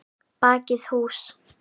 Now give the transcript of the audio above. Bakið hús.